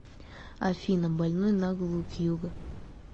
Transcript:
афина больной на голову кьюго